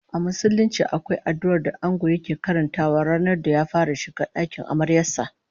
A Musulunci akwai addu'ar da Ango yake karantawa ranar da ya fara shiga dakin amaryar sa